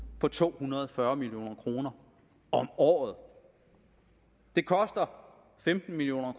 på to hundrede og fyrre million kroner om året det koster femten million